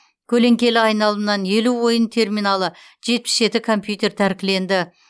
көлеңкелі айналымнан елу ойын терминалы жетпіс жеті компьютер тәркіленді